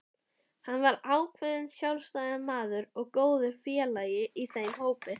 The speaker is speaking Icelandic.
Hann var ákveðinn sjálfstæðismaður og góður félagi í þeim hópi.